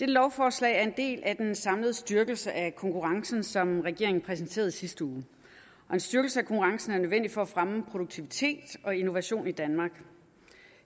lovforslag er en del af den samlede styrkelse af konkurrencen som regeringen præsenterede i sidste uge og en styrkelse af konkurrencen er nødvendig for at fremme produktivitet og innovation i danmark